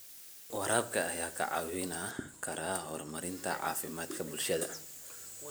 Waraabka ayaa kaa caawin kara horumarinta caafimaadka bulshada.